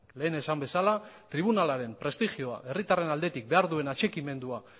lehen esan bezala tribunalaren prestigioa herritarraren aldetik behar duen atxikimendua